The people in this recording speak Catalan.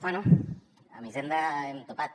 bé amb hisenda hem topat